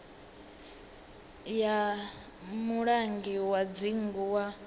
ya mulangi wa dzingu wa